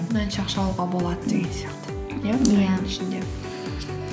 мынанша ақша алуға болады деген сияқты